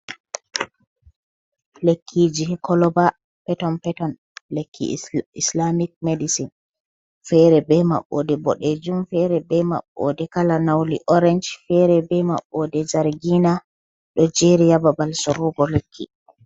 Lekkiji ha koloba peton peton. Lekki islamic medicine. Fere be maɓbode bodejum, fere be maɓbode kala launi orange, fere be mabbode zargina. Do jeri ha babal sorugo lekki.